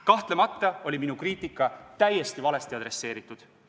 Kahtlemata oli minu kriitika täiesti valesti adresseeritud.